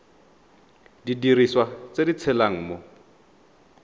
didiriswa tse di tshelang mo